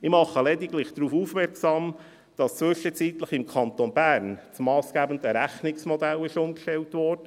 Ich mache lediglich darauf aufmerksam, dass zwischenzeitlich im Kanton Bern das massgebende Rechnungsmodell umgestellt wurde;